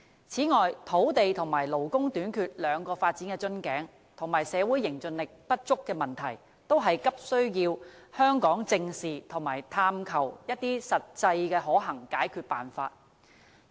此外，對於土地和勞工短缺兩個發展瓶頸，以及社會凝聚力不足的問題，香港都急需正視，並探求實際可行的解決辦法。